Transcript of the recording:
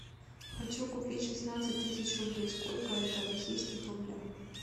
хочу купить шестнадцать тысяч рублей сколько это в российских рублях